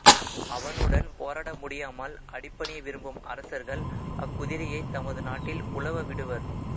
அவனுடன் போரிடமுடியாமல் அடிபணிய விரும்பும் அரசர்கள் அக் குதிரையைத் தமது நாட்டில் உலவ விடுவர்